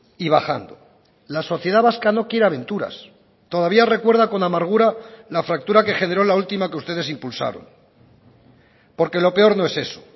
y bajando la sociedad vasca no quiere aventuras todavía recuerda con amargura la fractura que generó la última que ustedes impulsaron porque lo peor no es eso